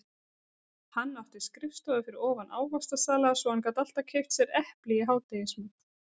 Hann átti skrifstofu fyrir ofan ávaxtasala svo hann gat alltaf keypt sér epli í hádegismat.